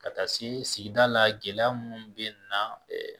Ka taa se sigida la gɛlɛya munnu be na ɛɛ